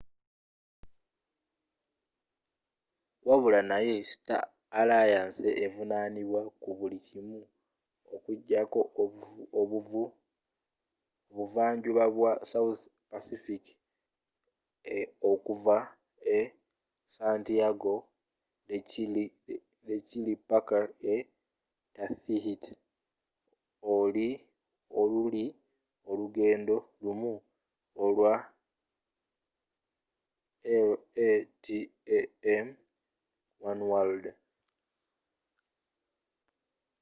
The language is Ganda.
wabula naye star alliance evunaanibwa ku buli kimu okujjako obuvanjuba bwa south pacific okuva e santiago de chile paka e tahiti oluli olugendo lumu olwe latam oneworld